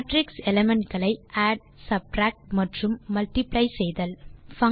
matrix element களை add subtract மற்றும் multiply செய்தல் 3